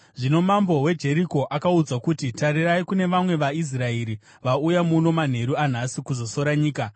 Zvino mambo weJeriko akaudzwa kuti, “Tarirai! Kune vamwe vaIsraeri vauya muno manheru anhasi kuzosora nyika.”